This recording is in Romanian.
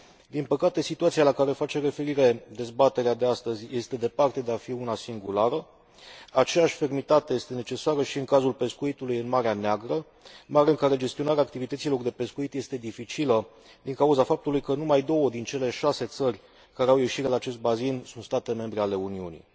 Din păcate, situația la care face referire dezbaterea de astăzi este departe de a fi una singulară, aceeași fermitate este necesară și în cazul pescuitului în Marea Neagră, mare în care gestionarea activităților de pescuit este dificilă din cauza faptului că numai două din cele șase țări care au ieșire la acest bazin sunt state membre ale Uniunii.